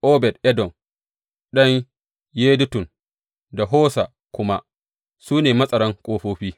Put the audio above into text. Obed Edom ɗan Yedutun da Hosa kuma, su ne matsaran ƙofofi.